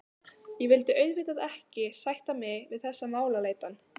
Ég vildi auðvitað ekki sætta mig við þessa málaleitan.